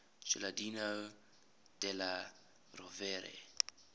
giuliano della rovere